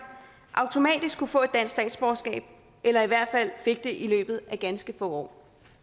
automatisk kunne få et dansk statsborgerskab eller i hvert fald fik det i løbet af ganske få år